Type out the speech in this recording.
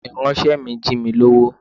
Ìránṣẹ́ mi jí mi lówó.